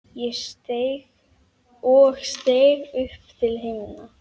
og steig upp til himna